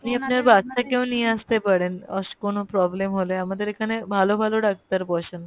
আপনি আপনার বাচ্চা কে নিয়ে আসতে পারেন কোনো problem হলে আমাদের এখানে ভালো ভালো ডাক্তার বসেন